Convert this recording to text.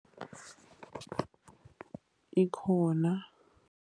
Ikhona.